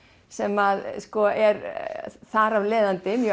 sem er þar að leiðandi mjög